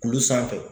Kulu sanfɛ